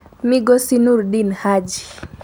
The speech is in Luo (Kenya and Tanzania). Migosi Noordin Haji